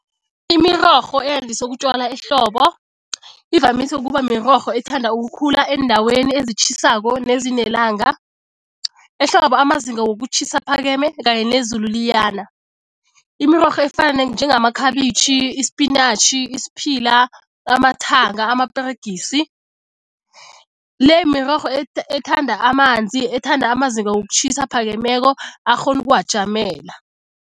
Imirorho eyandiswe ukutjalwa ehlobo ivamise ukuba mirorho ethanda ukukhula eendaweni ezitjhisako nezinelanga. Ehlobo amazinga wokutjhisa aphakeme kanye nezulu liyana. Imirorho efana njengamakhabitjhi, isipinatjhi, isiphila, amathanga, amaperegisi le mirorho ] ethanda amanzi, ethanda amazinga wokutjhisa aphakemeko akghona ukuwajamela.